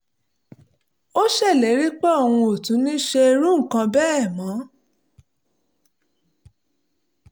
ó ṣèlérí pé òun ò tún ní ṣe irú nǹkan bẹ́ẹ̀ mọ́